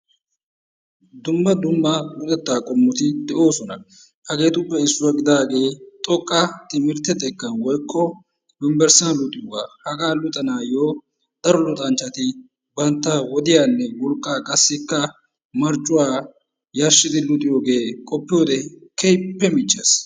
dumma dumma luxetta qommoti de'oosona. hageetuppe issuwa gidaagee xoqqa timirtte xekkan woykko yunbberssiyan luxiyoogaa. hagaa luxanayyo daro luxanchchati bantta wodiyanne wolqqa qassikka marccuwaa yarshshidi luxiyoogee qopiyoode keehippe michches.